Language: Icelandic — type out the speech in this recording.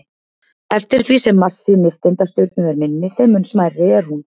Eftir því sem massi nifteindastjörnu er minni, þeim mun smærri er hún.